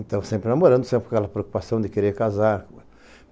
Então, sempre namorando, sempre aquela preocupação de querer casar.